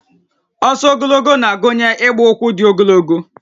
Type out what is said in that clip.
Ọsọ ogologo na-agụnye ịgba ụkwụ dị ogologo